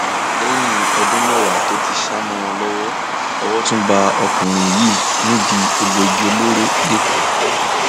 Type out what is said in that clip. lẹyìn ọdún mẹwàá tó ti sá mọ wọn lọwọ owó tún bá ọkùnrin yìí nídìí egbòogi olóró lẹkọọ